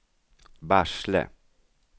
Barsele